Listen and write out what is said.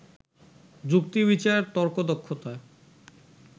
যুক্তিবিচার, তর্কদক্ষতা